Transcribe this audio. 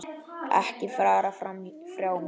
Ekki fara frá mér!